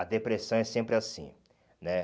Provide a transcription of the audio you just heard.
A depressão é sempre assim, né?